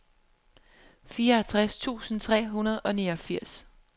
fireogtres tusind tre hundrede og niogfirs